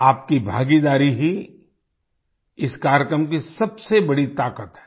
आपकी भागीदारी ही इस कार्यक्रम की सबसे बड़ी ताकत है